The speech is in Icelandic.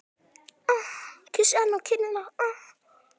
Kyssi hana á kinnina.